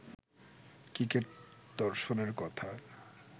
cricket দর্শনের কথা